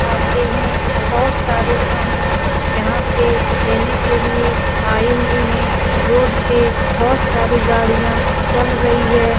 आते हैं बहुत सारे सामान यहाँ पे लेने के लिए आये हुए हैं। रोड पे बहुत सारी गाड़ियाँ चल रही है।